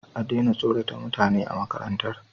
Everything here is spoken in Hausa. ya daina tsorata mutane a makarantar